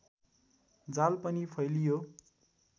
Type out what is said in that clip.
जाल पनि फैलियो